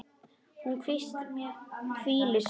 Hún hvílir sig.